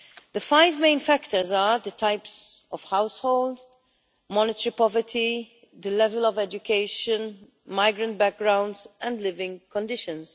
The five main factors are type of household, monetary poverty, the level of education, a migrant background, and living conditions.